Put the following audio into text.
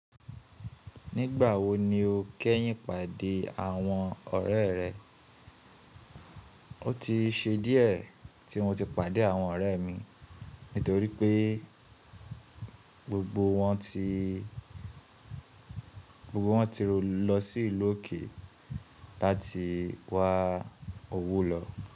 Nígbà wo ni o kẹ́yìn pàdé àwọn ọ̀rẹ́ rẹ? O ti ṣe díẹ̀ tí mo ti pàdé àwọn ọ̀rẹ́ mi nítorí pé gbogbo wọn ti, gbogbo wọn ti ro lọ sí ìlú òkè láti wá owó lọ.